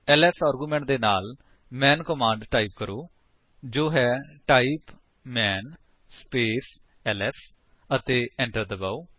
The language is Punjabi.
ਐਲਐਸ ਆਰਗੂਮੈਂਟ ਦੇ ਨਾਲ ਮੈਨ ਕਮਾਂਡ ਟਾਈਪ ਕਰੋ ਜੋ ਹੈ ਟਾਈਪ ਮਾਨ ਸਪੇਸ ਐਲਐਸ ਅਤੇ enter ਦਬਾਓ